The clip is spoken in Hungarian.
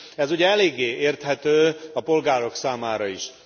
Ez ugye eléggé érthető a polgárok számára is.